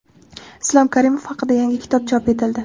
Islom Karimov haqida yangi kitob chop etildi.